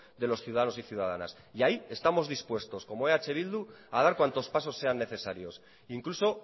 de los ciudadanos y ciudadanas ahí estamos dispuestos como eh bildu a dar cuantos pasos sean necesarios incluso